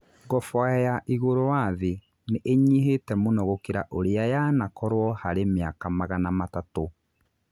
Ngoboa ya 'igũrũ wa thĩ' nĩ ĩnyihĩte mũno gũkĩra ũrĩa yanakorũo harĩ mĩaka magana matatũ